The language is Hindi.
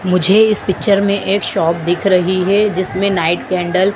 मुझे इस पिक्चर में एक शॉप दिख रही है जिसमें नाइट कैंडल --